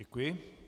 Děkuji.